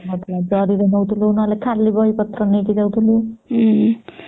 ନଉ ନଥିଲେ ଜରି ରେ ନେଉଥିଲୁ ନହଲେ ଖାଲି ବହି ପତ୍ର ନେଇକି ଯାଉଥିଲୁ